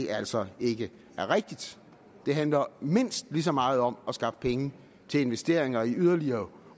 altså ikke er rigtigt det handler mindst lige så meget om at skaffe penge til investeringer i yderligere